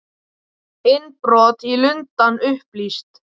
Innbrot í Lundann upplýst